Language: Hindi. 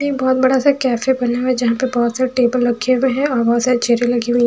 ये एक बहुत बड़ा सा कैफे बना हुआ है जहाँ पे बहोत सारे टेबल रखे हुए हैं और बहोत सारी चेयरें लगी हुई हैं।